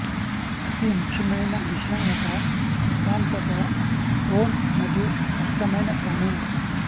అతి ముఖ్యమైన విషయం ఒక ప్రశాంతత టోన్ మరియు స్పష్టమైన క్రమం